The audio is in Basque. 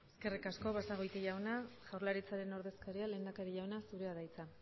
eskerrik basagoiti jauna jaurlaritzaren ordezkaria lehendakari jauna zurea da hitza